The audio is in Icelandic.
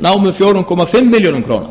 námu fjóra komma fimm milljörðum króna